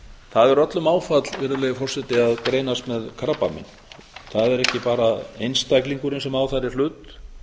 það er öllum áfall virðulegi forseti að greinast með krabbamein það er ekki bara einstaklingurinn sem á þar í hlut